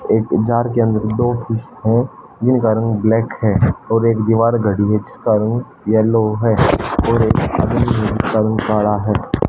एक जार के अंदर दो पीस है जिनका रंग ब्लैक है और एक दीवार घड़ी है जिसका रंग येलो है और रंग काला हैं।